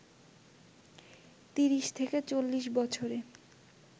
৩০-৪০ বছরে